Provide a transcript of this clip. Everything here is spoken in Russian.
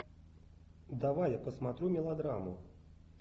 давай я посмотрю мелодраму